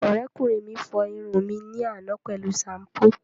Ọ̀rẹ́kùnrin mi fọ irun mi ní àná pẹ̀lú ṣampú